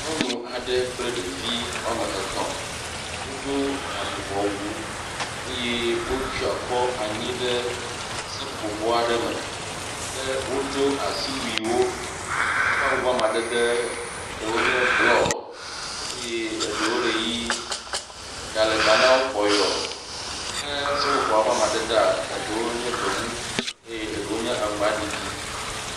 Nyɔnu aɖe kple ɖevi wome etɔ̃, wodo avuvɔ wu, wotsɔ akɔ anyi ɖe seƒoƒobɔ aɖe me, ke wodo asiwuiwo, woƒe awu ƒe amadede nye blɔ, eɖewo le ʋi, eɖa le ta namwo kpɔyo ke seƒoƒoa ƒe amadedewoa, eɖewo nye gbemu eye eɖewo nye aŋgba ɖiɖi